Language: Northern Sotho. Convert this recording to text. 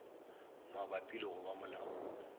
mabapi le go ba molaong